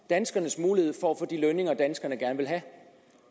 danskernes mulighed for at få de lønninger danskerne gerne vil have